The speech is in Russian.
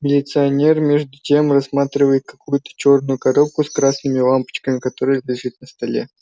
милиционер между тем рассматривает какую-то чёрную коробку с красными лампочками которая лежит на столе